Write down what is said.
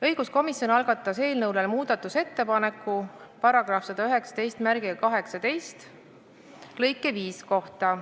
Õiguskomisjon algatas muudatusettepaneku § 11918 lõike 5 kohta.